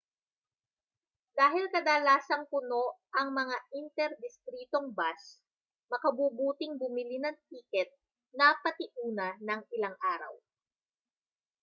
dahil kadalasang puno ang mga inter-distritong bus makabubuting bumili ng tiket na patiuna nang ilang araw